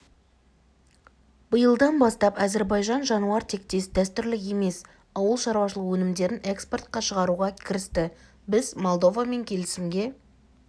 биылдан бастап әзербайжан жануар тектес дәстүрлі емес ауыл шаруашылығы өнімдерін экспортқа шығаруға кірісті біз молдовамен келісімге